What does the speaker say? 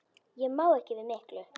Ég má ekki við miklu.